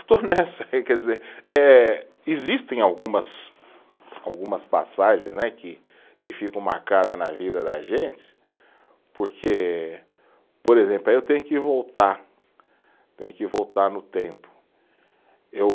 Estou nessa aí, quer dizer, eh existem algumas, algumas passagens né que ficam marcadas na vida da gente, porque, por exemplo, aí eu tenho que voltar, tenho que voltar no tempo, eu